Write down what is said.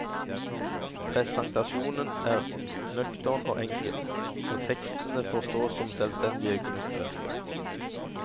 Presentasjonen er nøktern og enkel, og tekstene får stå som selvstendige kunstverker.